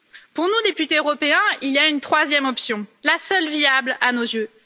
Pour nous, députés européens, il y a une troisième option, la seule viable à nos yeux.